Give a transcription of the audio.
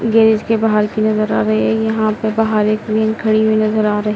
garage के बाहर की नज़र आ रही है यहाँ पे बाहर एक वेन खड़ी हुई नज़र आ रही --